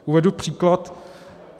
Uvedu příklad.